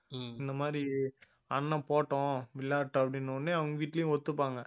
இந்த மாதிரி அண்ணன் போட்டும் விளையாடட்டும் அப்படின்ன உடனே அவங்க வீட்டுலயும் ஒத்துப்பாங்க